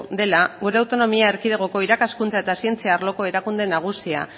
dela gure autonomia erkidegoko irakaskuntza eta zientzia arloko erakunde nagusia